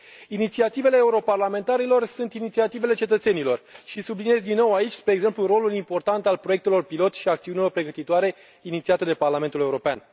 Inițiativele europarlamentarilor sunt inițiativele cetățenilor și subliniez din nou aici, spre exemplu, rolul important al proiectelor pilot și al acțiunilor pregătitoare inițiate de Parlamentul European.